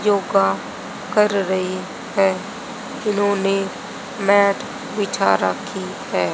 योगा कर रही है इन्होंने मैट बिछा रखी है।